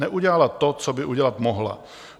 Neudělala to, co by udělat mohla.